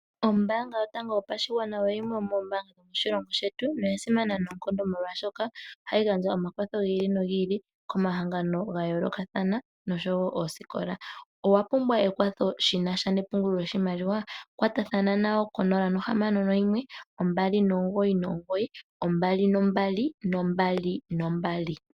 Ombaanga yotango yopashigwana oyimwe yo moombaanga dhomoshilongo shetu noya simana noonkondo molwashoka ohayi gandja omakwatho gi ili nogi ili komahangano ga yoolokathana nosho wo oosikola. Owa pumbwa ekwatho shi nasha nepungulo lo shimaliwa? Katathana nayo konola nohamano noyimwe ombali nomugoyi nomugoyi, noombali yeli yane